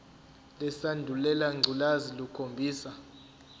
lesandulela ngculazi lukhombisa